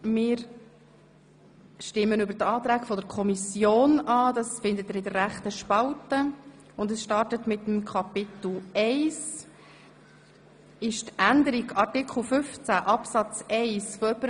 Wir stimmen über die Anträge der Kommission ab, welche Sie in der linken Spalte der Vorlage finden.